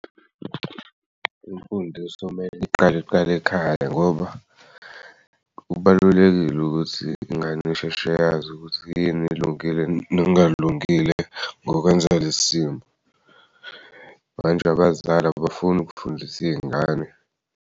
Imfundiso mele iqale kuqale ekhaya ngoba kubalulekile ukuthi ingan'isheshe yazi ukuthi yini elungile nengalungile ngokwenza ngalesi simo manje abazali abafuni ukufundisa iy'ngane.